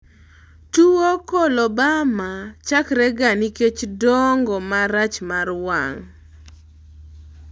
tuwo coloboma chakrega nikech dongo marach mar wang'